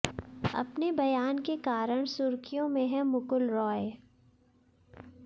अपने बयान के कारण सुर्खियों में हैं मुकुल रॉय